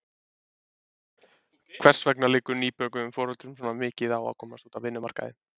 Hvers vegna liggur nýbökuðum foreldrum svona mikið á að komast út á vinnumarkaðinn?